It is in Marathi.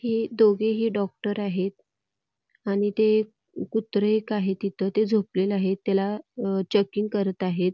हे दोघेही डॉक्टर आहेत आणि ते कुत्र एक आहे तिथ ते झोपलेल आहे त्याला चेकिंग करत आहेत.